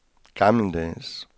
gammeldags